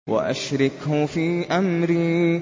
وَأَشْرِكْهُ فِي أَمْرِي